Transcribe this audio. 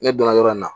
Ne donna yɔrɔ in na